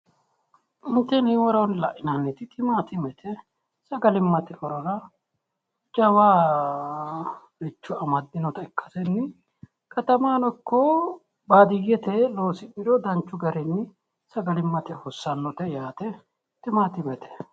Tini woroonni la'inanniti timaaatimete. Sagalimmate horora jawaricho amaddinota ikkasenni katamahono ikko baadiyyete loosi'niro danchu garinni sagalimmate hossanote yaate. Timaatimete.